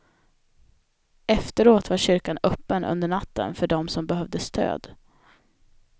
Efteråt var kyrkan öppen under natten för dem som behövde stöd.